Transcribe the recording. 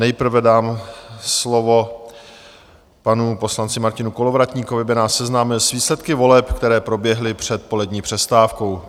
Nejprve dám slovo panu poslanci Martinu Kolovratníkovi, aby nás seznámil s výsledky voleb, které proběhly před polední přestávkou.